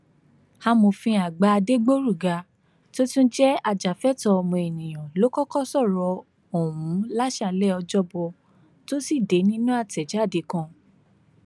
amòfin àgbà adẹgbòrugà tó tún jẹ ajàfẹtọọ ọmọnìyàn ló kọkọ sọrọ ọhún láṣáálẹ ọjọbọ tosidee nínú àtẹjáde kan